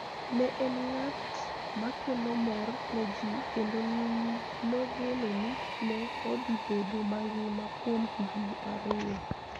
Ne en ng'at makelo mor ne ji kendo nogeno ni ne odhi bedo mangima kuom higini ariyo